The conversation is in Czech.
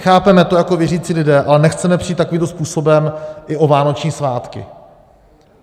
Chápeme to jako věřící lidé, ale nechceme přijít takovým způsobem i o vánoční svátky.